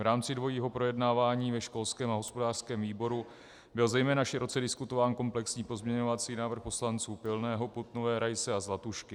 V rámci dvojího projednávání ve školském a hospodářském výboru byl zejména široce diskutován komplexní pozměňovací návrh poslanců Pilného, Putnové, Raise a Zlatušky.